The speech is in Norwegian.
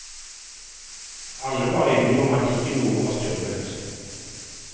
Alle var enige om at ikke noe var stjålet.